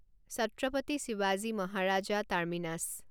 ছাত্ৰাপাতি শিৱাজী মহাৰাজ টাৰ্মিনাছ